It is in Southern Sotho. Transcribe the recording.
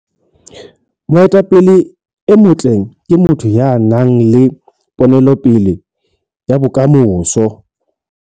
Moetapele e motle ke motho ya nang le ponelopele ya bokamoso.